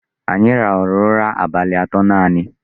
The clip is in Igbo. Anyị rahụrụ ụra abalị atọ nanị.